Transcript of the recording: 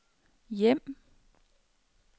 hjem